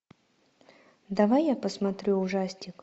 давай я посмотрю ужастик